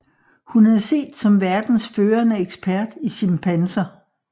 Hun er set som verdens førende ekspert i chimpanser